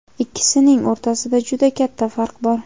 Ikkisining o‘rtasida juda katta farq bor.